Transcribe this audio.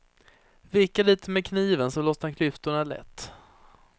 Vicka lite med kniven så lossnar klyftorna lätt.